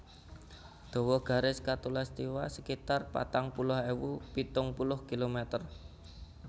Dawa garis khatulistiwa sekitar patang puluh ewu pitung puluh kilometer